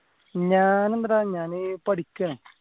ഞാൻ എന്തടാ ഞാൻ പഠിക്കാ